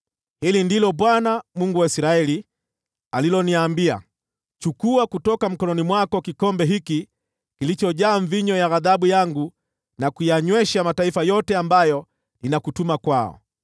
Hili ndilo Bwana , Mungu wa Israeli, aliloniambia: “Chukua kutoka mkononi mwangu kikombe hiki kilichojaa divai ya ghadhabu yangu, na kuyanywesha mataifa yote ambayo ninakutuma kwao.